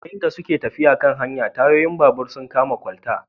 Yayin da suke tafiya a kan hanya, tayoyin babur sun kama kwalta